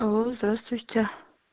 алло здравствуйте